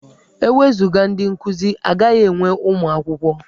E wezuga ndị nkuzi, a gaghị enwe ụmụ akwụkwọ.